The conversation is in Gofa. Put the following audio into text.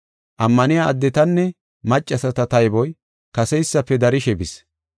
Ammaniya addetanne maccasata tayboy kaseysafe darishe bis.